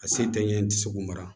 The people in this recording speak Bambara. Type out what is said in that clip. A se tɛ ɲɛ ye tɛ se k'u mara